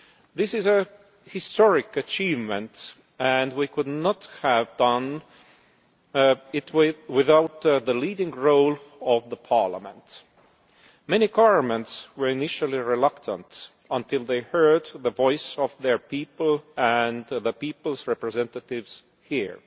This is a historic achievement, and we could not have done it without the leading role of Parliament. Many governments were initially reluctant until they heard the voice of their people and of the people's representatives here.